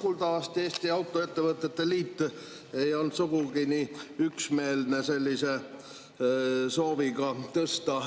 Kuuldavasti meie Autoettevõtete Liit ei olnud sugugi nii üksmeelne sooviga tõsta